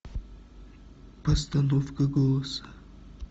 постановка голоса